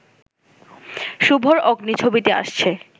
শুভর 'অগ্নি' ছবিটি আসছে